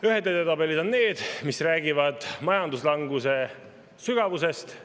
Ühed edetabelid on need, mis räägivad majanduslanguse sügavusest.